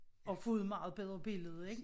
Og få et meget bedre billede ik?